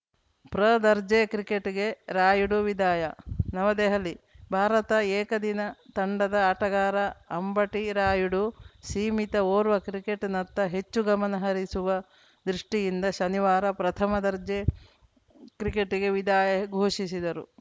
ಪ್ರದರ್ಜೆ ಕ್ರಿಕೆಟ್‌ಗೆ ರಾಯುಡು ವಿದಾಯ ನವದೆಹಲಿ ಭಾರತ ಏಕದಿನ ತಂಡದ ಆಟಗಾರ ಅಂಬಟಿ ರಾಯುಡು ಸೀಮಿತ ಓರ್ವ ಕ್ರಿಕೆಟ್‌ನತ್ತ ಹೆಚ್ಚು ಗಮನ ಹರಿಸುವ ದೃಷ್ಟಿಯಿಂದ ಶನಿವಾರ ಪ್ರಥಮ ದರ್ಜೆ ಕ್ರಿಕೆಟ್‌ಗೆ ವಿದಾಯ ಘೋಷಿಸಿದರು